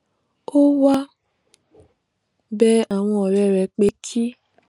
ó wá bẹ àwọn òré rè pé kí